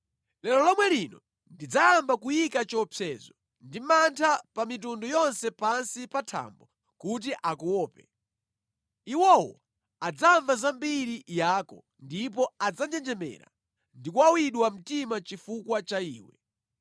Lero lomwe lino ndidzayamba kuyika chiopsezo ndi mantha pa mitundu yonse pansi pa thambo kuti akuope. Iwowo adzamva zambiri yako ndipo adzanjenjemera ndi kuwawidwa mtima chifukwa cha iwe.”